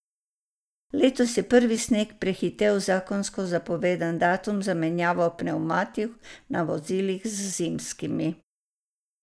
Letos je prvi sneg prehitel zakonsko zapovedani datum za menjavo pnevmatik na vozilih z zimskimi.